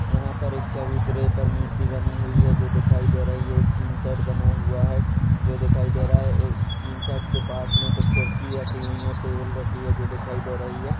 यहाँ पर एक चबूतरे पर मूर्ति बनी हुई है जो दिखाई दे रही है एक टीन सेट बना हुआ है जो दिखाई दे रहा है और टीन सेट के पास में कुछ कुर्सी रखी हुई है टेबल रखी है जो दिखाई दे रही है।